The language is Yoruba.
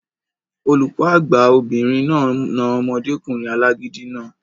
Olùkọ́ àgbà obìnrin náà na omọdékùnrin alágídí náà